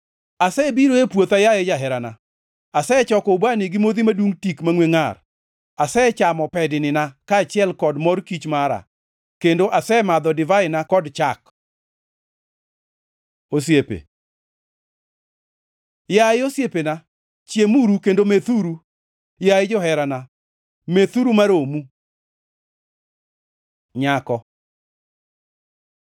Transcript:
Asebiro e puotha, yaye jaherana; asechoko ubani gi modhi madungʼ tik mangʼwe ngʼar, asechamo pednina kaachiel kod mor kich mara; kendo asemadho divaina kod chak. Osiepe Yaye osiepena, chiemuru kendo methuru; yaye joherana, methuru ma romu. Nyako